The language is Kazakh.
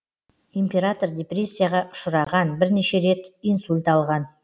император депрессияға ұшыраған бірнеше рет инсульт алған